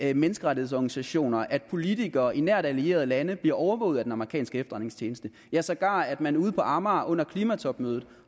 at menneskerettighedsorganisationer at politikere i nært allierede lande bliver overvåget af den amerikanske efterretningstjeneste ja sågar at man ude på amager under klimatopmødet